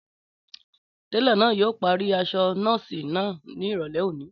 Télọ̀ náà yóò parí aṣọ nọ́ọ̀sì náà ní ìrọ̀lẹ́ òní